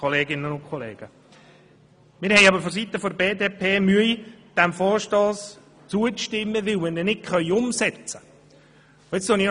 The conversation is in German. Wir haben aber vonseiten der BDP Mühe, diesem Vorstoss zuzustimmen, weil wir diesen nicht umsetzen können.